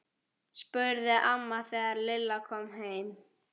spurði amma þegar Lilla kom heim.